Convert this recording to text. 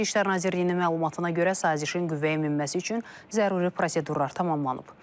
Xarici İşlər Nazirliyinin məlumatına görə sazişin qüvvəyə minməsi üçün zəruri prosedurlar tamamlanıb.